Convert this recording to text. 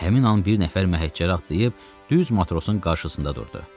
Həmin an bir nəfər məhəccəri atlayıb düz matrosun qarşısında durdu.